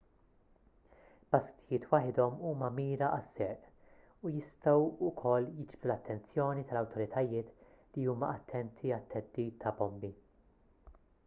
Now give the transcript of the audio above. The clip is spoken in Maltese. basktijiet waħedhom huma mira għas-serq u jistgħu wkoll jiġbdu l-attenzjoni tal-awtoritajiet li huma attenti għat-theddid ta' bombi